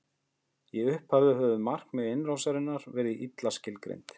í upphafi höfðu markmið innrásarinnar verið illa skilgreind